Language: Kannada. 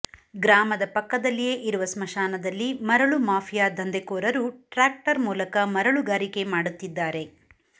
ಗ್ರಾಮದ ಪಕ್ಕದಲ್ಲಿಯೇ ಇರುವ ಸ್ಮಶಾನದಲ್ಲಿ ಮರಳು ಮಾಫಿಯಾ ದಂಧೆಕೋರರು ಟ್ರಾಕ್ಟರ್ ಮೂಲಕ ಮರಳುಗಾರಿಕೆ ಮಾಡುತ್ತಿದ್ದಾರೆ